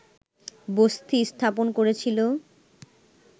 বসতি স্থাপন করেছিল